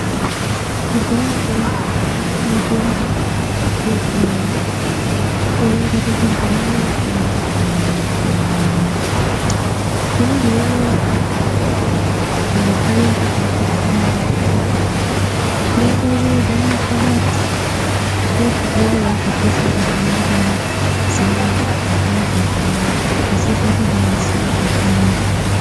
Kudhayako mitombo yekudhaya yaingwaririrwa mumutundi zvinezvi unou nekuuya kwakaite chiyungu yongwaririrwa mumakabati nezvimweniwo zvatisingazii ngemazina azvo kuzi zvinozi zviinyi asi zvakasecha kwemene.